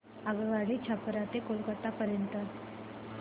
आगगाडी छपरा ते कोलकता पर्यंत